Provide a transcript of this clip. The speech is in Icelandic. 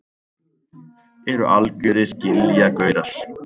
Eru algjörir giljagaurar.